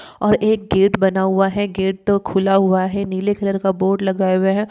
और एक गेट बना हुआ है। गेट तो खुला हुआ है। नीले कलर का बोर्ड लगाए हुए हैं।